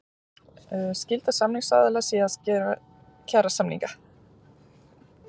Skylda samningsaðila sé að gera kjarasamninga